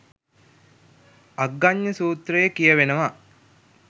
අග්ගඥ සුත්‍රයේ කියවෙනවා